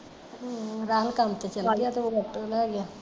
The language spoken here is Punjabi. ਹਮ ਰਾਹੁਲ ਤੇ ਕੰਮ ਤੇ ਚਲਾ ਗਿਆ ਤੇ ਉਹ ਆਟੋ ਲੈ ਗਿਆ